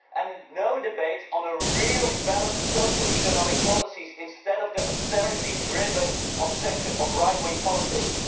and no debate on real, balanced social economic policies, instead of the austerity driven obsession of right wing politics.